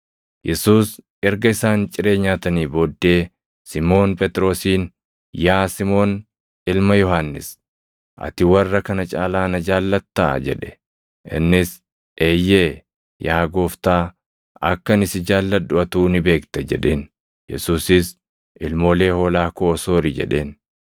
Yesuus erga isaan ciree nyaatanii booddee Simʼoon Phexrosiin, “Yaa Simoon ilma Yohannis, ati warra kana caalaa na jaallattaa?” jedhe. Innis, “Eeyyee, yaa Gooftaa; akka ani si jaalladhu atuu ni beekta” jedheen. Yesuusis, “Ilmoolee hoolaa koo soori” jedheen.